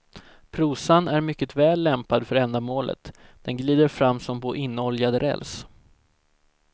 Prosan är mycket väl lämpad för ändamålet, den glider fram som på inoljad räls.